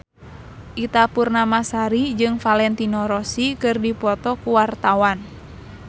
Ita Purnamasari jeung Valentino Rossi keur dipoto ku wartawan